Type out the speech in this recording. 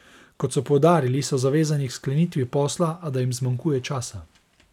Kot so poudarili, so zavezani k sklenitvi posla, a da jim zmanjkuje časa.